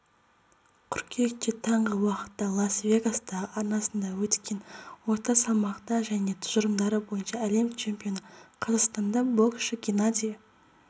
қыркүйекте таңғы уақытта лас-вегастағы арнасында өткен орта салмақта және тұжырымдары бойынша әлем чемпионы қазақстандық боксшы геннадий